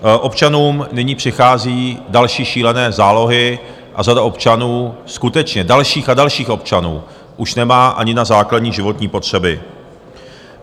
Občanům nyní přichází další šílené zálohy a řada občanů, skutečně dalších a dalších občanů, už nemá ani na základní životní potřeby.